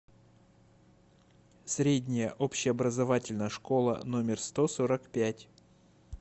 средняя общеобразовательная школа номер сто сорок пять